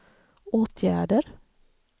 åtgärder